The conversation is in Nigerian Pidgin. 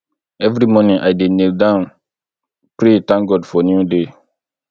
every morning i dey kneel down pray thank god for new day